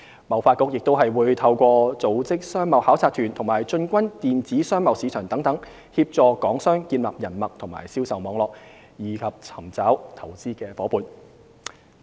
貿發局亦會透過組織商貿考察團及進軍電子商貿市場等，協助港商建立人脈和銷售網絡，以及尋找投資夥伴。